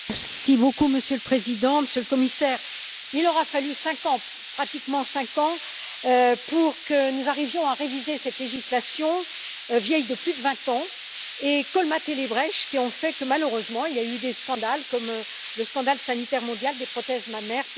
Monsieur le Président, Monsieur le Commissaire, il aura fallu pratiquement cinq ans pour que nous arrivions à réviser cette législation vieille de plus de 20 ans et à colmater les brèches qui ont fait que, malheureusement, il y a eu des scandales comme le scandale sanitaire mondial des prothèses mammaires PIP.